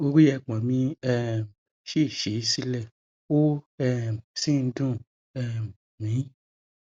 orí ẹpọn mi um ṣì sí sílẹ ó um sì ń dùn um mí